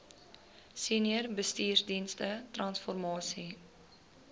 senior bestuursdienste transformasie